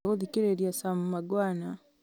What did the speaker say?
ndĩrenda gũthikĩrĩria sam mangwana